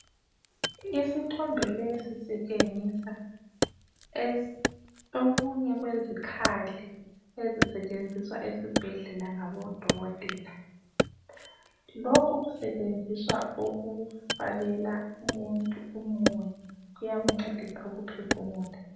Isithombe lesi sitshengisa esinye sezikhali ezisetshenziswa esibhedlela ngabodokotela lokhu kusetshenziswa ukufakela umuntu umoya kuyamncedisa ukuphefumula.